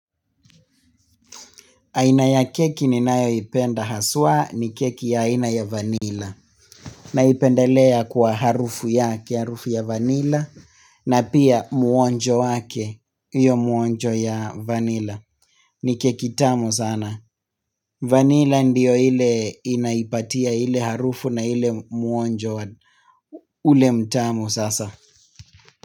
Aina ya keki ninayoipenda haswa ni keki ya ina ya vanila. Naipendalea kwa harufu yake, harufu ya vanila, na pia muonjo wake, hiyo muonjo ya vanila. Ni keki tamu sana. Vanila ndio ile inaipatia ile harufu na ile muonjo ule mtamu sasa.